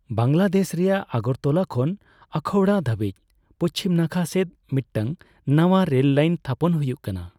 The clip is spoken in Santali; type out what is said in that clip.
ᱵᱟᱝᱞᱟᱫᱮᱥ ᱨᱮᱭᱟᱜ ᱟᱜᱚᱨᱛᱚᱞᱟ ᱠᱷᱚᱱ ᱟᱠᱷᱟᱩᱲᱟ ᱫᱷᱟᱹᱵᱤᱡ ᱯᱩᱪᱷᱤᱢ ᱱᱟᱠᱷᱟ ᱥᱮᱫ ᱢᱤᱫᱴᱟᱝ ᱱᱟᱣᱟ ᱨᱮᱞᱞᱟᱭᱤᱱ ᱛᱷᱟᱯᱚᱱ ᱦᱩᱭᱩᱜ ᱠᱟᱱᱟ ᱾